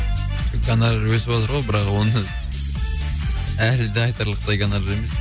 гонорар өсіватыр ғой бірақ оны әлі де айтарлықтай гонорар емес